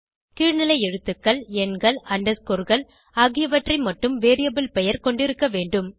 கீழ்நிலை எழுத்துக்கள் எண்கள் underscoreகள் ஆகியவற்றை மட்டும் வேரியபிள் பெயர் கொண்டிருக்க வேண்டும்